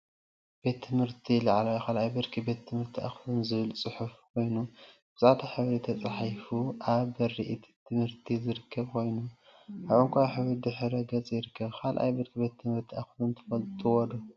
ቤት ትምህርቲ ቤት ትምህርቲ ላዕለዋይ 2ይ ብርኪ ቤት ትምህርቲ አክሱም ዝብል ፅሑፍ ኮይኑ፤ ብፃዕዳ ሕብሪ ተፃሒፉ አብ በሪ እቲ ቤት ትምህርቲ ዝርከብ ኮይኑ፤ አብ ዕንቋይ ሕብሪ ድሕረ ገፅ ይርከብ፡፡ 2ይ ብርኪ ቤት ትምህርቲ አክሱም ትፈልጥዎ ዶ?